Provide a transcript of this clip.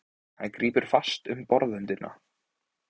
Hann grípur fast um borðröndina.